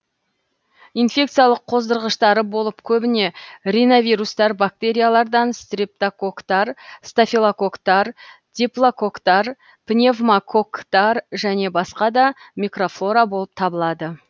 инфекциялық қоздырғыштары болып көбіне риновирустар бактериялардан стрептококктар стафилококктар диплококктар пневмококктар және басқа да микрофлора болып табылады